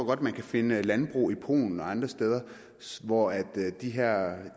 godt at man kan finde landbrug i polen og andre steder hvor de her